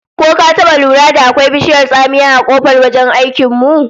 Ko ka taba lura da akwai bishiyar tsamiya a kofar wajen aikin mu?